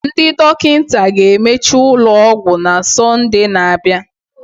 Ndị dọkịta ga-emechi ụlọ ọgwụ na Sọnde na-abịa